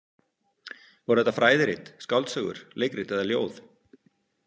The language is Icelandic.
Voru þetta fræðirit, skáldsögur, leikrit eða ljóð?